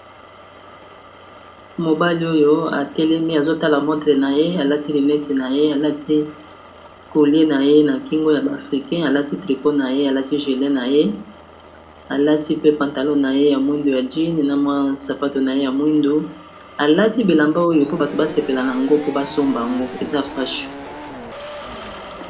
Mobali oyo a telemi, azo tala montre na ye a lati lunette na ye, alati collier na ye na kingo, ya ba Africains, a lati tricot na ye, alati julet na ye alati pe pantalon na ye ya jeans mwindu ya na sapatu na ye ya mwindu, a lati bilamba oyo po bato ba sepela na yango, po b.asomba yango , eza fashon .